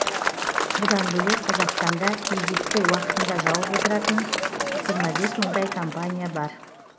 бұдан бөлек қазақстанда кредитті уақытында жауып отырған жиырма бес мыңдай компания бар